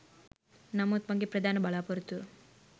නමුත් මගේ ප්‍රධාන බලාපොරොත්තුව